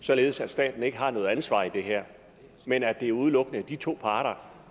således at staten ikke har noget ansvar i det her men at der udelukkende er de to parter